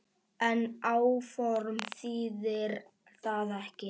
En áform þýðir það ekki.